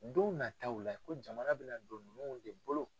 Donw nataaw la ko jamana bɛ na don nunnu de bolo.